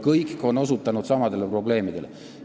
Kõik on osutanud samadele probleemidele.